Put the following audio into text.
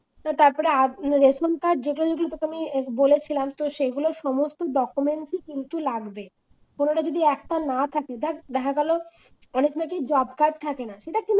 তারপরে ration card যেটা যদি তোকে আমি বলেছিলাম তো সেইগুলো সমস্ত documents এ কিন্তু লাগবে কোনটা যদি একটা না থাকে দেখ দেখা গেল অনেক সময় কি drop card থাকে না ঠিক আছে